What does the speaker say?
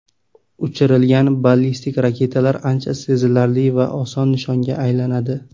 Uchirilgan ballistik raketalar ancha sezilarli va oson nishonga aylanadi.